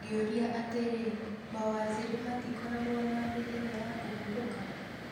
ngĩuria atĩri mawaziri matikoragwo na mĩthenya ya kũhurũka?